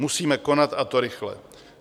Musíme konat, a to rychle.